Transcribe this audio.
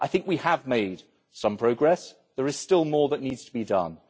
We have made some progress, there is still more that needs to be done.